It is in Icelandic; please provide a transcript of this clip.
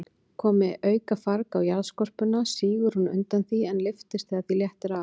Komi aukafarg á jarðskorpuna, sígur hún undan því, en lyftist þegar því léttir af.